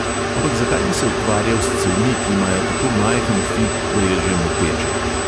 Ampak zakaj bi se ukvarjal s cevmi, ki imajo tako majhen fi, da je že moteče?